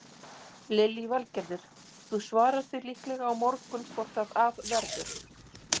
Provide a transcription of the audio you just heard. Lillý Valgerður: Þú svarar því líklega á morgun hvort að af verður?